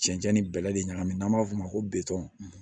Cɛncɛn ni bɛlɛ de ɲagami n'an b'a f'o ma ko